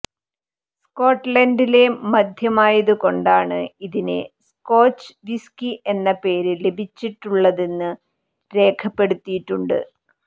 സ്കോട്ട്ലന്റിലെ മദ്യമായതുകൊണ്ടാണ് ഇതിനെ scotch whisky എന്ന പേര് ലഭിച്ചിട്ടുള്ളതെന്ന് രേഖപ്പെടുത്തിയിട്ടുണ്ട്